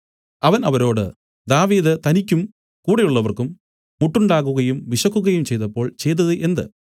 അവൻ അവരോട് ദാവീദ് തനിക്കും കൂടെയുള്ളവർക്കും മുട്ടുണ്ടാകുകയും വിശക്കുകയും ചെയ്തപ്പോൾ ചെയ്തതു എന്ത്